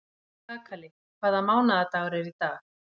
Kakali, hvaða mánaðardagur er í dag?